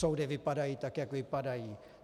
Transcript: Soudy vypadají, tak jak vypadají.